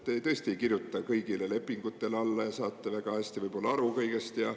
Te tõesti ei kirjuta kõigile lepingutele alla ja saate väga hästi aru kõigest.